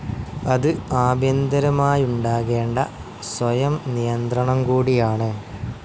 അത് ആഭ്യന്തരമായുണ്ടാകേണ്ട സ്വയംനിയന്ത്രണം കൂടിയാണ്.